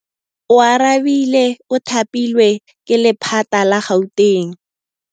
Oarabile o thapilwe ke lephata la Gauteng.